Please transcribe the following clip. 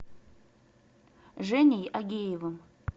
женей агеевым